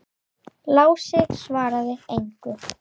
Lási svaraði engu.